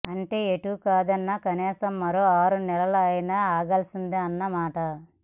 అంటే ఎటూ కాదన్న కనీసం మరో ఆరు నెలలు అయినా ఆగాల్సిందేనన్న మాట